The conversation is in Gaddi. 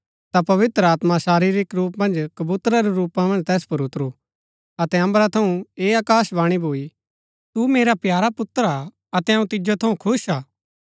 ता पवित्र आत्मा शारीरिक रूप मन्ज कबूतरा रै रूपा मन्ज तैस पुर उतरू अतै अम्बरा थऊँ ऐह आकाशवाणी भूई तू मेरा प्यारा पुत्र हा अतै अऊँ तिजो थऊँ खुश हा